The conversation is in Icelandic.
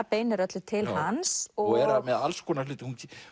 beinir öllu til hans er með alls konar hluti